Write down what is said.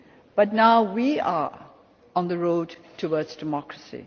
behind. But now we are on the road towards democracy.